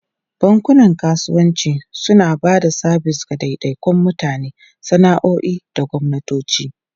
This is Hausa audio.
Bankunan kasuwanci suna ba da sabis ga daidaikun mutane, sana'o'i da gwamnatoci.